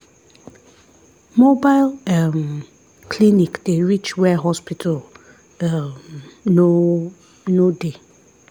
mobile um clinic dey reach where hospital um no no dey.